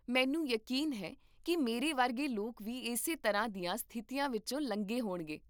ਮੈਨੂੰ ਯਕੀਨ ਹੈ ਕਿ ਮੇਰੇ ਵਰਗੇ ਲੋਕ ਵੀ ਇਸੇ ਤਰ੍ਹਾਂ ਦੀਆਂ ਸਥਿਤੀਆਂ ਵਿੱਚੋਂ ਲੰਘੇ ਹੋਣਗੇ